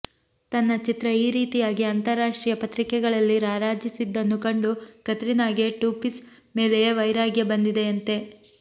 ತನ್ನ ಚಿತ್ರ ಈ ರೀತಿಯಾಗಿ ಅಂತರರಾಷ್ಟ್ರೀಯ ಪತ್ರಿಕೆಗಳಲ್ಲಿ ರಾರಾಜಿಸಿದ್ದನ್ನು ಕಂಡು ಕತ್ರಿನಾಗೆ ಟೂಪೀಸ್ ಮೇಲೆಯೇ ವೈರಾಗ್ಯ ಬಂದಿದೆಯಂತೆ